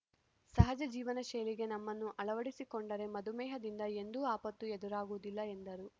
ಸಹಜ ಜೀವನ ಶೈಲಿಗೆ ನಮ್ಮನ್ನು ಅಳವಡಿಸಿಕೊಂಡರೆ ಮಧುಮೇಹದಿಂದ ಎಂದೂ ಆಪತ್ತು ಎದುರಾಗುವುದಿಲ್ಲ ಎಂದರು